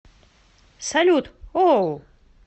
салют оу